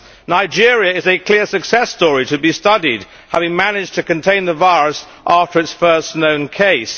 Nigeria is a clear success story to be studied, as it has managed to contain the virus after its first known case.